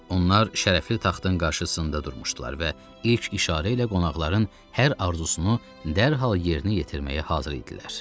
Onlar şərəfli taxtın qarşısında durmuşdular və ilk işarə ilə qonaqların hər arzusunu dərhal yerinə yetirməyə hazır idilər.